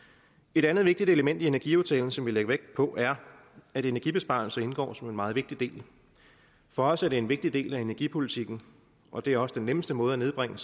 et andet vigtigt element i energiaftalen som vi lagde vægt på er at energibesparelser indgår som en meget vigtig del for os er det en vigtig del af energipolitikken og det er også den nemmeste måde at nedbringe